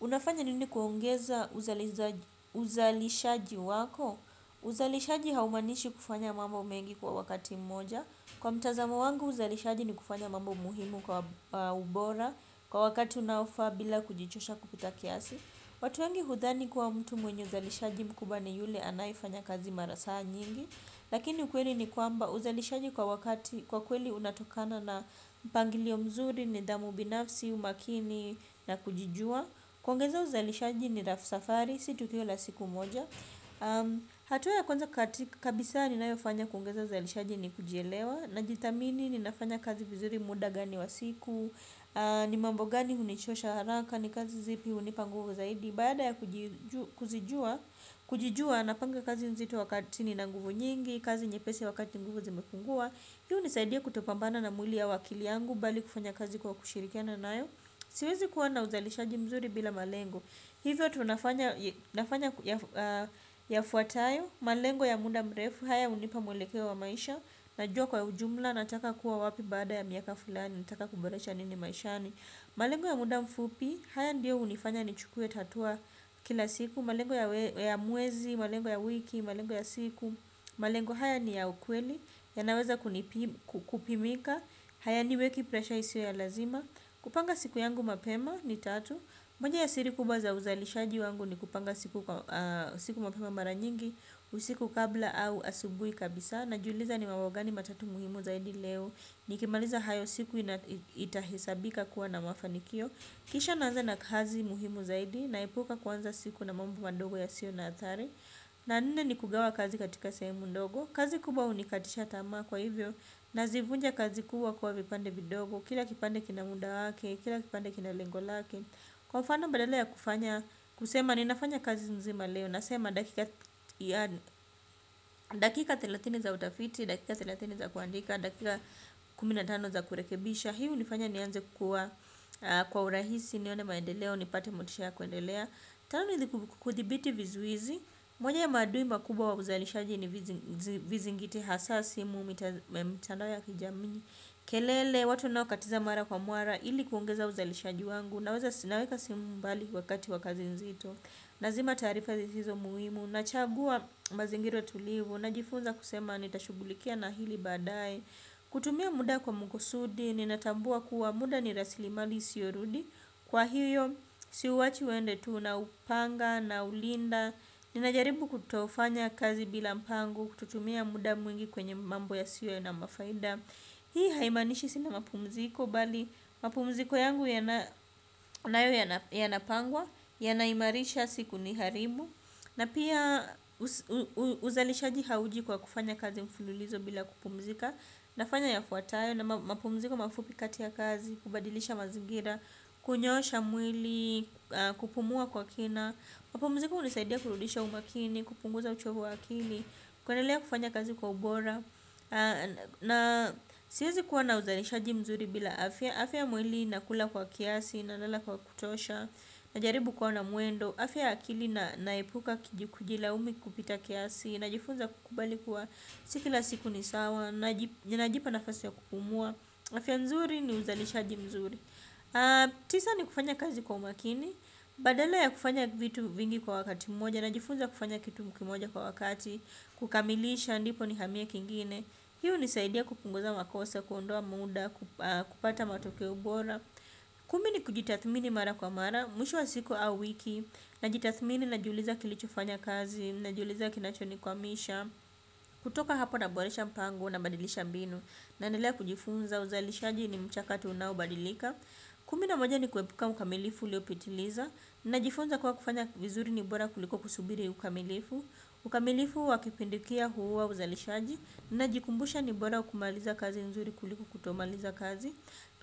Unafanya nini kuongeza uzalishaji wako? Uzalishaji haumanishi kufanya mambo mengi kwa wakati mmoja. Kwa mtazamo wangu uzalishaji ni kufanya mambo muhimu kwa ubora kwa wakati unaofaa bila kujichosha kupita kiasi. Watu wangi hudhani kuwa mtu mwenye uzalishaji mkubwa ni yule anayefanya kazi mara saa nyingi. Lakini ukweli ni kwamba uzalishaji kwa kweli unatokana na mpangilio mzuri nidhamu binafsi umakini na kujijua. Kuongezea uzalishaji ni safari si tukio la siku moja. Hatua ya kwanza kabisa ninayofanya kuongeza uzalishaji ni kujielewa. Najithamini ninafanya kazi mzuri muda gani wa siku. Ni mambo gani hunichosha haraka ni kazi zipi hunipa nguvu zaidi. Baada ya kujijua napanga kazi nzito wakati nina nguvu nyingi. Kazi nyepesi wakati nguvu zimepungua. Hiyo hunisaidia kutopambana na mwili au akili yangu bali kufanya kazi kwa kushirikiana nayo. Siwezi kuwa na uzalishaji mzuri bila malengo. Hivyo tunafanya yafuatayo. Malengo ya muda mrefu. Haya hunipa mwelekeo wa maisha. Najua kwa ujumla nataka kuwa wapi baada ya miaka fulani. Nataka kuboresha nini maishani. Malengo ya muda mfupi. Haya ndiyo hunifanya nichukue hatua kila siku. Malengo ya mwezi, malengo ya wiki, malengo ya siku. Malengo haya ni ya ukweli. Yanaweza kupimika. Hayaniweki pressure isiyo ya lazima. Kupanga siku yangu mapema ni tatu. Moja ya siri kubwa za uzailishaji wangu ni kupanga siku mapema mara nyingi. Usiku kabla au asubuhi kabisa. Najiuliza ni mambo gani matatu muhimu zaidi leo? Nikimaliza hayo siku itahesabika kuwa na mafanikio. Kisha naanza na kazi muhimu zaidi. Naepuka kwanza siku na mambo madogo yasio na hatari. La nne ni kugawa kazi katika sehemu ndogo. Kazi kubwa hunikatisha tamaa. Kwa hivyo nazivunja kazi kubwa kuwa vipande vidogo. Kila kipande kina muda wake, kila kipande kila lengo lake. Kwa mfano badala ya kufanya kusema ninafanya kazi nzima leo nasema dakika dakika thelathini za utafiti dakika thelathini za kuandika dakika kumi na tano za kurekebisha hii hunifanya nianze kuwa kwa urahisi nione maendeleo nipate motisha ya kwendelea. Tano ni kuthibiti vizuizi moja ya maadui makubwa wa uzalishaji ni visingiti hasaa simu mtandao ya kijamii, kelele watu wanaokatiza mara kwa mara ili kuongeza uzalishaji wangu naeka simu mbali wakati wa kazi nzito. Nazima taarifa sizizo muhimu. Nachagua mazingira tulivu. Najifunza kusema nitashughulikia na hili baadae. Kutumia muda kwa makusudi ninatambua kuwa muda ni rasilimali isiorudi. Kwa hiyo siuwachi uende tu naupanga naulinda. Ninajaribu kutofanya kazi bila mpango kutotumia muda mwingi kwenye mambo yasio na mafaida. Hii haimanishi sina mapumziko bali mapumziko yangu yanayo yanapangwa. Yanahimarisha sikuniharibu. Na pia uzalishaji hauji kwa kufanya kazi mfululizo bila kupumzika. Nafanya yafuatayo; mapumziko mafuta kati ya kazi, kubadilisha mazingira, kunyoosha mwili, kupumua kwa kina. Mapumuziko hunisaidia kurudisha umakini, kupunguza uchovu wa akili, kwendelea kufanya kazi kwa ubora. Aa na siwezi kuwa na uzalishaji mzuri bila afya. Afya ya mwili nakula kwa kiasi, nanala kwa kutosha, najaribu kuwa na mwendo. Afya ya akili naepuka kijlaumu kupita kiasi. Najifunza kukubali kuwa s ikila siku ni sawa. Najipa nafasi ya kupumua. Afya mzuri ni uzalishaji mzuri. Tisa ni kufanya kazi kwa umakini. Badala ya kufanya vitu vingi kwa wakati mmoja najifunza kufanya kitu kimoja kwa wakati. Kukamilisha ndipo nihamie kingine. Hii hunisaidia kupunguza makosa, kuondoa muda, kupata matokeo bora. Kumi ni kujitathmini mara kwa mara, mwisho wa siku au wiki. Najitathmini najiuliza kilichofanya kazi najiuliza kinachonikwamisha. Kutoka hapo naboresha mpango, nabadilisha mbinu, naendelea kujifunza. Uzalishaji ni mchakato unaobadilika. Kumi na moja ni kuepuka ukamilifu uliopitiliza. Najifunza kuwa kufanya vizuri ni bora kuliko kusubiri ukamilifu. Ukamilifu wa kupindukia huuwa uzalishaji. Najikumbusha ni bora kumaliza kazi nzuri kuliko kutomaliza kazi.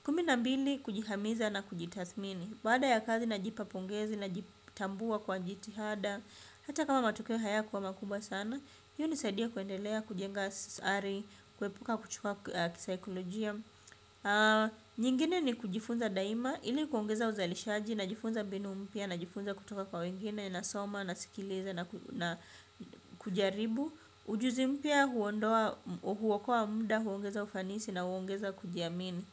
Kumi na mbili kujihamiza na kujitathmini. Baada ya kazi najipa pongezi najitambua kwa jitihada. Hata kama matokeo hayakuwa makubwa sana. Hii hunisaidia kuendelea, kujenga sari, kuepuka kuchuwa kisaikolojia. Nyingine ni kujifunza daima. Ili kuongeza uzalishaji najifunza mbinu mpya najifunza kutoka kwa wengine, nasoma nasikiliza na kujaribu. Ujuzi mpya huokoa mda, huongeza ufanisi na huongeza kujiamini.